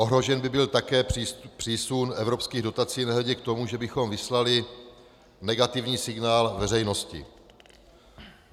Ohrožen by byl také přísun evropských dotací, nehledě k tomu, že bychom vyslali negativní signál veřejnosti.